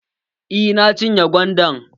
Eh, na cinye gwandan.